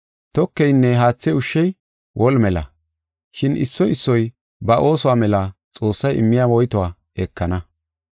Tokeynne haathe ushshey woli mela, shin issoy issoy ba oosuwa mela Xoossay immiya woytuwa ekana.